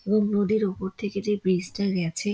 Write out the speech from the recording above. ও নদীর উপর থেকে যে ব্রিজ টা গেছে--